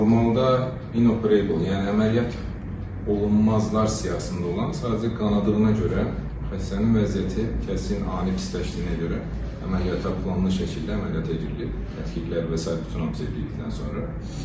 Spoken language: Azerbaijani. Normalda inoperable, yəni əməliyyat olunmazlar siyahısında olan, sadəcə qanadığına görə xəstənin vəziyyəti kəskin ani pisləşdiyinə görə əməliyyata planlı şəkildə əməliyyat edilib, təkliklər və sair bütün sevdikdən sonra.